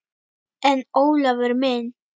En Ólafur minn.